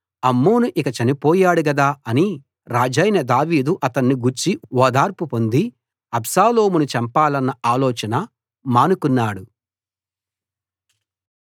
అమ్నోను ఇక చనిపోయాడు గదా అని రాజైన దావీదు అతని గూర్చి ఓదార్పు పొంది అబ్షాలోమును చంపాలన్న ఆలోచన మానుకున్నాడు